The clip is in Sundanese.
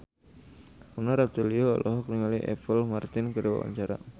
Mona Ratuliu olohok ningali Apple Martin keur diwawancara